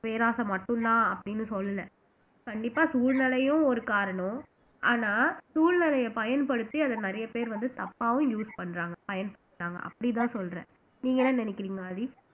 பேராசை மட்டும்தான் அப்படின்னு சொல்லல கண்டிப்பா சூழ்நிலையும் ஒரு காரணம் ஆனா சூழ்நிலையை பயன்படுத்தி அத நிறைய பேர் வந்து தப்பாவும் use பண்றாங்க பயன்படுத்துறாங்க அப்படிதான் சொல்றேன் நீங்க என்ன நினைக்கிறீங்க ஆதி